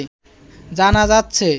জানা যাচ্ছে